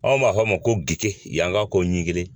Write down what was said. Anw b'a fɔ a ma ko gki yanka ko ɲigili